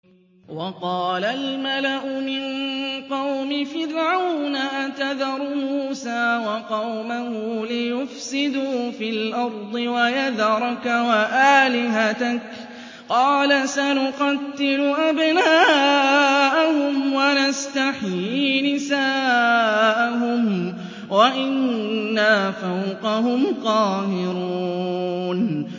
وَقَالَ الْمَلَأُ مِن قَوْمِ فِرْعَوْنَ أَتَذَرُ مُوسَىٰ وَقَوْمَهُ لِيُفْسِدُوا فِي الْأَرْضِ وَيَذَرَكَ وَآلِهَتَكَ ۚ قَالَ سَنُقَتِّلُ أَبْنَاءَهُمْ وَنَسْتَحْيِي نِسَاءَهُمْ وَإِنَّا فَوْقَهُمْ قَاهِرُونَ